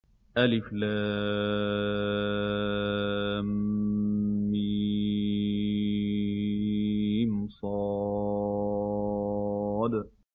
المص